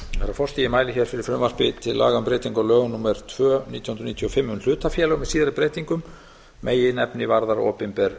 ég mæli hér fyrir frumvarpi til laga um breytingu á lögum númer tvö nítján hundruð níutíu og fimm um hlutafélög með síðari breytingum meginefnið varðar opinber